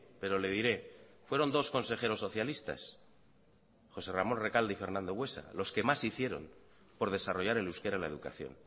pero le diré fueron dos consejeros socialistas josé ramón recalde y fernando buesa los que más hicieron por desarrollar el euskera en la educación